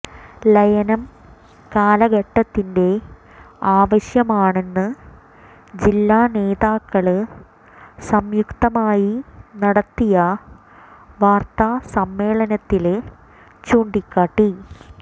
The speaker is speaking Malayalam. ലയനം കാലഘട്ടത്തിന്റെ ആവശ്യമാണെന്ന് ജില്ലാ നേതാക്കള് സംയുക്തമായി നടത്തിയ വാര്ത്താസമ്മേളനത്തില് ചൂണ്ടിക്കാട്ടി